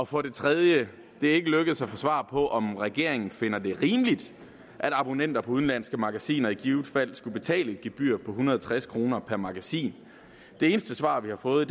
for det tredje det er ikke lykkedes at få svar på om regeringen finder det rimeligt at abonnenter på udenlandske magasiner i givet fald skulle betale et gebyr på en hundrede og tres kroner per magasin det eneste svar vi har fået